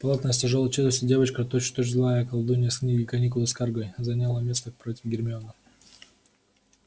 плотная с тяжёлой челюстью девочка точь в точь злая колдунья из книги каникулы с каргой заняла место против гермионы